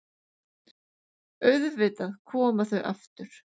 Auðvitað koma þau aftur.